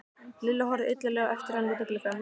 Lilla horfði illilega á eftir henni út um gluggann.